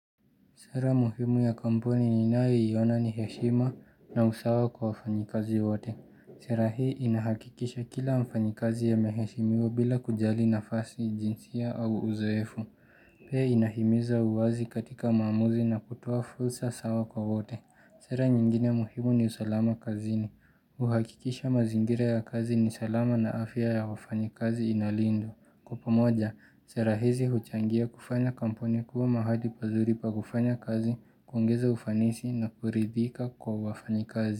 Sera muhimu ya kampuni ninayo iona ni heshima na usawa kwa wafanyakazi wote. Sera hii inahakikisha kila mfanyakazi ameheshimiwa bila kujali nafasi jinsia au uzoefu. Pia inahimiza uwazi katika maamuzi na kutoa fursa sawa kwa wote. Sera nyingine muhimu ni usalama kazini. Uhakikisha mazingira ya kazi ni salama na afya ya wafanyakazi inalindwa. Kwa pamoja, serahizi huchangia kufanya kampuni kuwa mahali pazuri pa kufanya kazi, kungoza ufanisi na kuridhika kwa wafanyakazi.